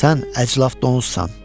Sən əclaf donuzsan!